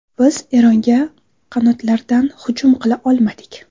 Biz Eronga qanotlardan hujum qila olmadik.